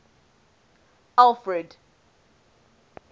alfred